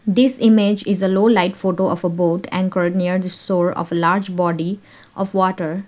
this image is a low light photo of a boat and near the shore of a large body of water.